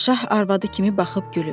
şah arvadı kimi baxıb gülür.